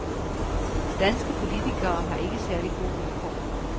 Danske politikere har ikke særlig gode vilkår.